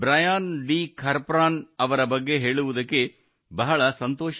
ಖರ್ಪ್ರಾನ್ ब्रायन डी खारप्रन ಅವರ ಬಗ್ಗೆ ಹೇಳುವುದಕ್ಕೆ ಬಹಳ ಸಂತೋಷವೆನಿಸುತ್ತದೆ